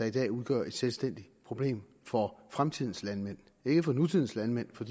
i dag udgør et selvstændigt problem for fremtidens landmænd ikke for nutidens landmænd for